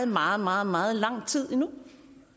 meget meget meget lang tid endnu